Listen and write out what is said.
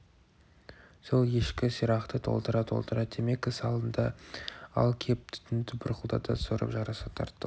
сол ешкі сирақты толтыра-толтыра темекі салынды ал кеп түтінді бұрқылдата сорып жарыса тарттық